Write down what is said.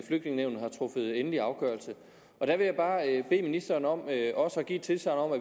flygtningenævnet har truffet endelig afgørelse der vil jeg bare bede ministeren om at give tilsagn om at